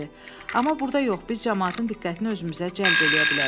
Amma burda yox, biz camaatın diqqətini özümüzə cəlb eləyə bilərik.